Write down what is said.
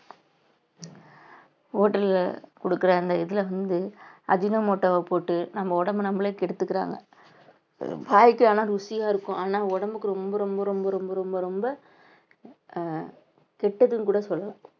hotel அ கொடுக்கிற அந்த இதுல வந்து அஜினோமோட்டோவ போட்டு நம்ம உடம்பை நம்மளே கெடுத்துக்கிறாங்க வாய்க்கு ஆனா ருசியா இருக்கும் ஆனா உடம்புக்கு ரொம்ப ரொம்ப ரொம்ப ரொம்ப ரொம்ப ரொம்ப அஹ் கெட்டதுன்னு கூட சொல்லலாம்